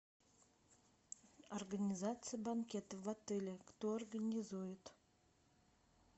организация банкета в отеле кто организует